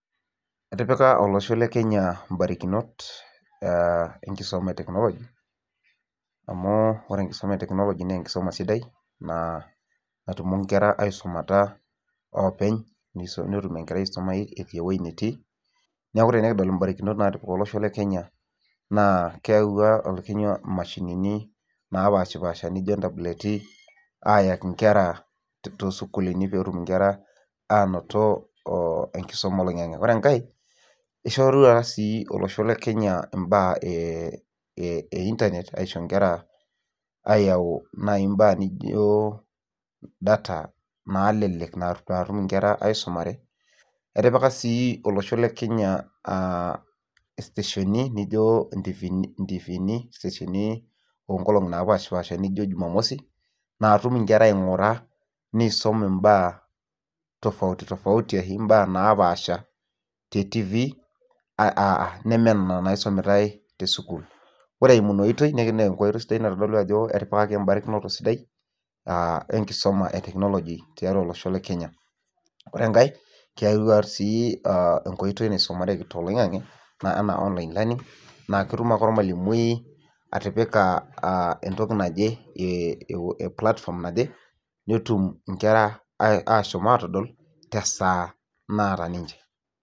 Etipika olosho le Kenya mbarikinot enkisuma e technology amu ore enkisuma e technology na enkisuma sidai natumoki nkera aisumataopeny netum enkerai aisumai etii ewoi natii neaku ore pikidol mbarikinot natipika olosho le kenya na keyawua mashinini napashipaasha nijo ntableti ayaki nkera tosukulini petum nkera ainoto enkisumab oloingangi ore enkae ishorua si olosho le kenya mbaa einternet aisho nkeraayau nai nkera nijo data nalelek natum nkera aisumare etipika sii olosho le kenya stationi nijo ntifini onkolongi napashipasha nijo jumamosi natum nkera ingura nisum mbaa tofauti tofauti ashu mbaa napaasha te tifi nama nena naisumitae tesukul ore eimu inaotoi itadolu ajo etipikaki mbarikinot sidain aa enkisuma e technology tiatua olosho le Kenya ore enkae keyau sii enkoitoi naisumareki toloingani ana online writing naketum aake ormalimui atipika entoki naje netum nkera ashomo atadol tesaa naata ninche.